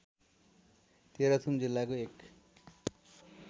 तेह्रथुम जिल्लाको एक